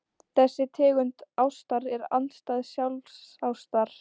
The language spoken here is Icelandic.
Þessi tegund ástar er andstæða sjálfsástar.